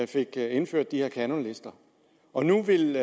fik indført de her kanonlister og nu vil